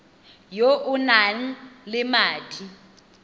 yo o nang le madi